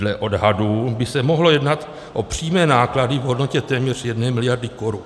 Dle odhadů by se mohlo jednat o přímé náklady v hodnotě téměř jedné miliardy korun.